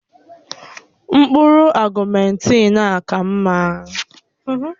Mkpụrụ ọ̀guméntin a ka mma